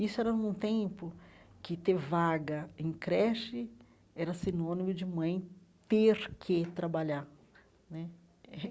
Isso era num tempo que ter vaga em creche era sinônimo de mãe ter que trabalhar né.